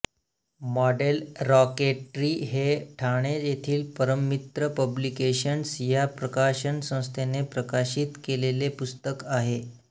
model rocketry हे ठाणे येथील Parammitra publications या प्रकाशनसंस्थेने प्रकाशित केलेले पुस्तक आहे